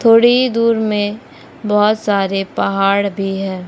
थोड़ी ही दूर में बहुत सारे पहाड़ भी है।